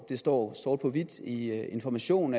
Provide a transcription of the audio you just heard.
det står sort på hvidt i information